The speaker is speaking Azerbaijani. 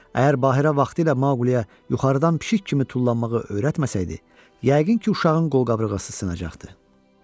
Əgər Bahirə vaxtilə Maquliyə yuxarıdan pişik kimi tullanmağı öyrətməsəydi, yəqin ki, uşağın qolqabırğası sınacaqdı.